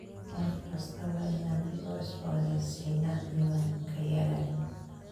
Sannad kasta waa inaan dib u cusboonaysiinnaa diiwaankayaga.